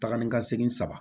Taga ni ka segin saba